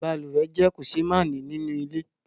Balùwẹ́ jẹ́ kòsémání nínú ilé